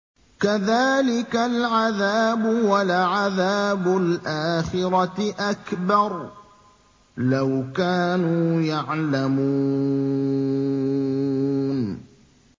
كَذَٰلِكَ الْعَذَابُ ۖ وَلَعَذَابُ الْآخِرَةِ أَكْبَرُ ۚ لَوْ كَانُوا يَعْلَمُونَ